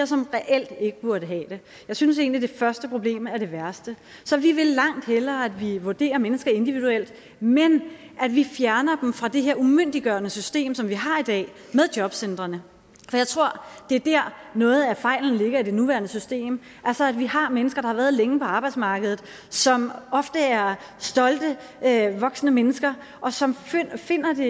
som reelt ikke burde have det jeg synes egentlig at det første problem er det værste så vi vil langt hellere at vi vurderer mennesker individuelt men at vi fjerner dem fra det her umyndiggørende system som vi har i dag med jobcentrene for jeg tror det er der noget af fejlen ligger i det nuværende system altså at vi har mennesker der har været længe på arbejdsmarkedet som ofte er stolte voksne mennesker og som finder det